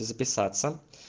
записаться